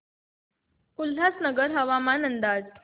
उल्हासनगर हवामान अंदाज